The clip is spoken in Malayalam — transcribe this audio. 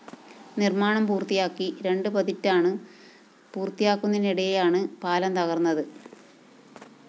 നിര്‍മ്മാണം പൂര്‍ത്തിയാക്കി രണ്ട് പതിറ്റാണ് പൂര്‍ത്തിയാകുന്നതിനിടെയാണ് പാലം തകര്‍ന്നത്